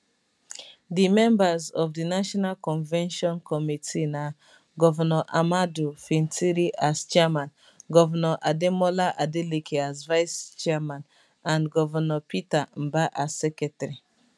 di members of di national convention committee na gov ahmadu fintiri as chairman gov ademola adeleke as vice chairman and gov peter mbah as secretary